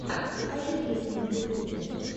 покажи песни на ютубе